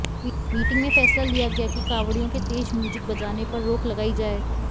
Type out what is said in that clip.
meeting में फैसला लिया गया कि कांवडि़यों के तेज म्यूजिक बजाने पर रोक लगाई जाए